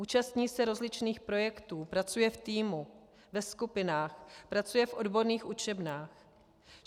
Účastní se rozličných projektů, pracuje v týmu, ve skupinách, pracuje v odborných učebnách.